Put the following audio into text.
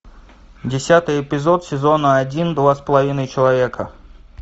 десятый эпизод сезона один два с половиной человека